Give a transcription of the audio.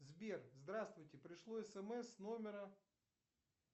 сбер здравствуйте пришло смс с номера